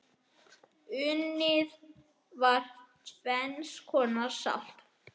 Unnið var tvenns konar salt.